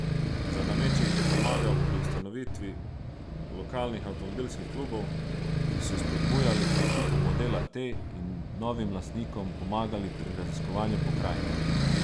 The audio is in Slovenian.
Za nameček je pomagal pri ustanovitvi lokalnih avtomobilskih klubov, ki so spodbujali k nakupu modela T in novim lastnikom pomagali pri raziskovanju pokrajine.